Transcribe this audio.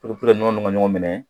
nɔnɔ ninnu ka ɲɔgɔn minɛ